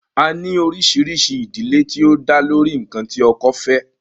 A ní oríṣiríṣi ìdílé tí ó dá lórí ǹkan tí ọkọ fẹ́